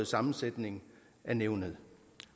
sammensætning af nævnet